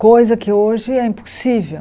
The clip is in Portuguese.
Coisa que hoje é impossível.